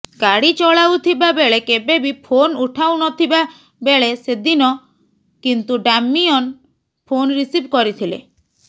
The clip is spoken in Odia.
ଗାଡି ଚଳାଉଥିବା ବେଳେ କେବେ ବି ଫୋନ୍ ଉଠାଉନଥିବା ବେଳେ ସେଦିନ କିନ୍ତୁ ଡାମିୟନ୍ ଫୋନ୍ ରିସିଭ୍ କରିଥିଲେ